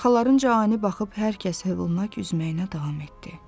Arxalarınca ani baxıb hər kəs hövlanaraq üzməyinə davam etdi.